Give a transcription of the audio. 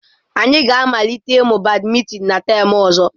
Anyị ga-amalite ịmụ badimintin na tam ọzọ.